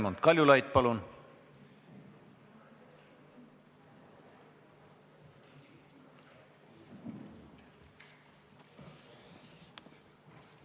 Raimond Kaljulaid, palun!